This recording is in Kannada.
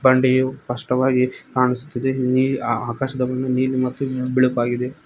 ಸ್ಪಷ್ಟವಾಗಿ ಕಾಣುಸ್ತಿದೆ ಇಲ್ಲಿ ಆಕಾಶವನ್ನು ನೀಲಿ ಮತ್ತು ಬಿಳುಪಾಗಿದೆ.